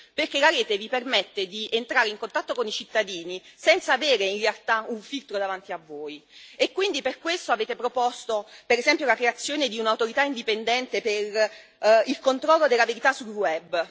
Perché la rete vi permette di entrare in contatto con i cittadini, senza avere in realtà un filtro davanti a voi, e quindi per questo avete proposto, per esempio, la creazione di un'autorità indipendente per il controllo della verità sul web.